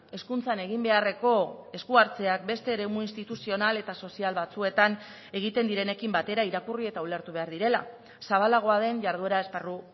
hezkuntzan egin beharreko esku hartzeak beste eremu instituzional eta sozial batzuetan egiten direnekin batera irakurri eta ulertu behar direla zabalagoa den jarduera esparru